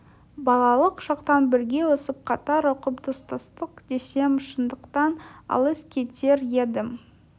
балалық шақтан бірге өсіп қатар оқып достастық десем шындықтан алыс кетер едім